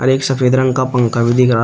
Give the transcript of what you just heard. एक सफेद रंग का पंखा भी दिख रहा।